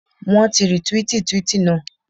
Wọ́n ti rìtwíìtì twíìtì naa.